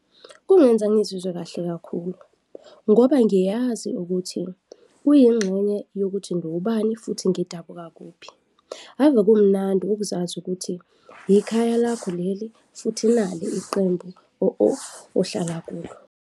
Kungenza ngizizwe kahle kakhulu ngoba ngiyazi ukuthi kuyingxenye yokuthi ngiwubani futhi ngidabuka kuphi. Ave kumnandi ukuzazi ukuthi hikhaya lakho leli futhi nali iqembu ohlala kulo.